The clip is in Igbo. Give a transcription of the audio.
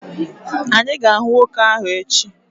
Anyị ga-ahụ nwoke ahụ echi.